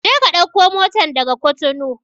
Je ka ɗauko motan daga Cotonou!